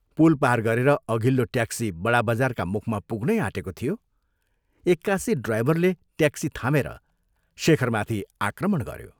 पुल पार गरेर अघिल्लो ट्याक्सी बडाबजारका मुखमा पुग्नै आँटेको थियो, एक्कासि ड्राइभरले ट्याक्सी थामेर शेखरमाथि आक्रमण गऱ्यो।